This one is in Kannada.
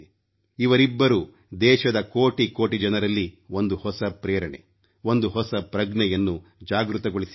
ಇವರಿಬ್ಬರೂ ದೇಶದ ಕೋಟಿ ಕೋಟಿ ಜನರಲ್ಲಿ ಒಂದು ಹೊಸ ಪ್ರೇರಣೆ ಒಂದು ಹೊಸ ಪ್ರಜ್ಞೆಯನ್ನು ಜಾಗೃತಗೊಳಿಸಿದ್ದಾರೆ